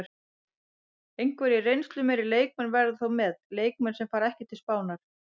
Einhverjir reynslumeiri leikmenn verða þó með, leikmenn sem fara ekki til Spánar.